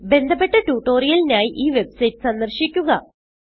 ബന്ധപ്പെട്ട ട്യൂട്ടോറിയലിനായി ഈ വെബ്സൈറ്റ് സന്ദർശിക്കുക